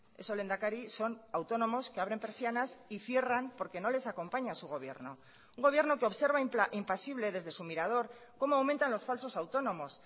eso lehendakari son autónomos que abren persianas y cierran porque no les acompaña su gobierno un gobierno que observa impasible desde su mirador como aumentan los falsos autónomos